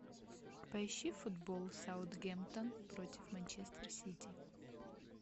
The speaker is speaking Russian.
поищи футбол саутгемптон против манчестер сити